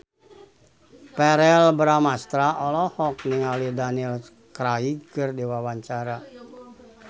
Verrell Bramastra olohok ningali Daniel Craig keur diwawancara